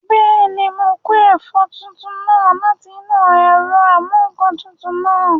Bẹ́ẹ̀ni, mo kó ẹ̀fọ́ tútù náà láti inú ẹ̀rọ amúǹkantutù náà